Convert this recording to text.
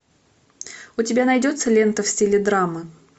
у тебя найдется лента в стиле драмы